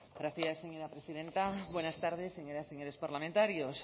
gracias señora presidenta buenas tardes señoras y señores parlamentarios